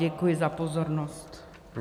Děkuji za pozornost.